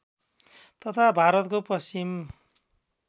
तथा भारतको पश्चिम